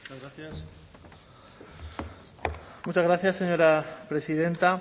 muchas gracias señora presidenta